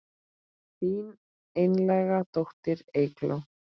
Þín einlæga dóttir Eygló.